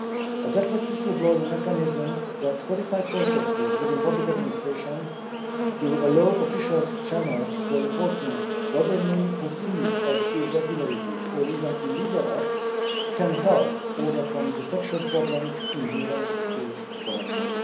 Adequate whistle-blowing mechanisms that codify processes within public administration to allow officials channels for reporting what they may perceive as irregularities or even illegal acts can help overcome detection problems inherent to corruption.